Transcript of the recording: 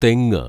തെങ്ങ്